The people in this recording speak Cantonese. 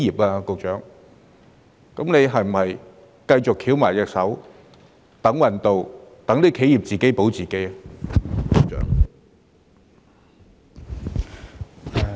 那麼，局長是否只會繼續"翹埋雙手等運到"，讓企業只能自保呢？